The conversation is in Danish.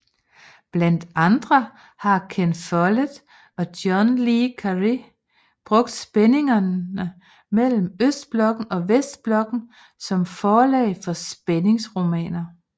Blandt andre har Ken Follett og John Le Carré brugt spændingerne mellem Østblokken og Vestblokken som forlag for spændingsromaner